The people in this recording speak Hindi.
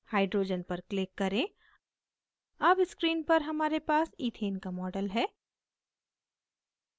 hydrogen पर click करें अब screen पर हमारे पास ethane का model है